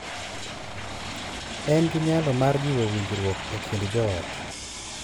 En gi nyalo mar jiwo winjruok e kind joot,